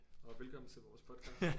Og velkommen til vores podcast